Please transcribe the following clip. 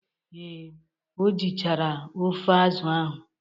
Ee, o jichara ofe azụ ahụ.